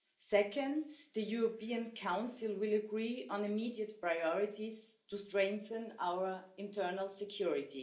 Second, the European Council will agree on immediate priorities to strengthen our internal security.